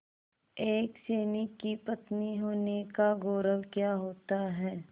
एक सैनिक की पत्नी होने का गौरव क्या होता है